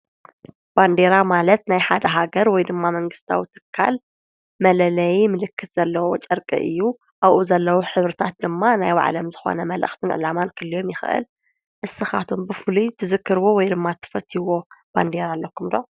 ባንዴራ ማለት ናይ ሓደ ሃገር ወይ ድማ መንግሥታዊ ትካል መለለይ ምልክት ዘለዉ ጨርቂ እዩ፡፡ ኣብኡ ዘለዉ ሕብርታት ድማ ናይ ብባዕሎም ዝኾነ መልእኽትን ዕላማን ክህልዮም ይኽእል፡፡ እስኻትኩም ብፍሉይ ትዝክርዎ ወይ ድማ ትፈለጥዎ ባንዲራ ነይሩ ኣለኩም ዶ?